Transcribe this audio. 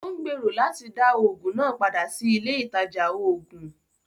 Ó ń gbèrò láti dá Ògùn náà padà sí ilé ìtajà oògùn